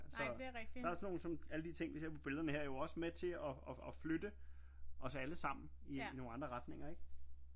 Så der er sådan nogle sådan alle de ting vi ser på billederne her er jo også med til at flytte os alle sammen i nogle andre retninger ikke